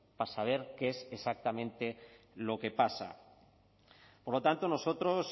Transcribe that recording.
para saber qué es exactamente lo que pasa por lo tanto nosotros